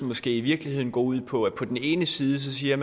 måske i virkeligheden ud på at man på den ene side siger